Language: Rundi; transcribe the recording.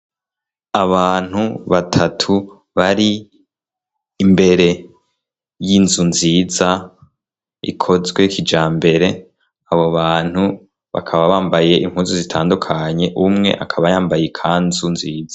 Abantu batatu bari imbere y'inzu nziza, ikozwe kijambere. Abo bantu bakaba bambaye impuzu zitandukanye umwe akaba yambaye ikanzu nziza.